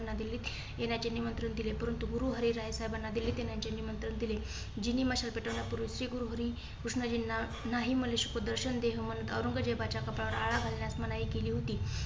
याना दिल्लीत येण्याचे निमंत्रण दिले. परंतु गुरुहरीरय साहेबाना दिल्लीतील येण्याचे निमंत्रण दिले. जीनि मशाल पेटवण्यापूर्वी श्री गुरुहरिकृष्णजीना नाही म्हणू शकत दर्शन देह म्हणून मनुष्य औरंगजेबाच्या कपाळात आळा घालण्यात मनाई केली होती.